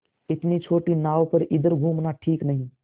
इतनी छोटी नाव पर इधर घूमना ठीक नहीं